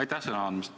Aitäh sõna andmast!